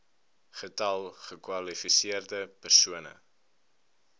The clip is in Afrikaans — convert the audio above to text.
getal gekwalifiseerde persone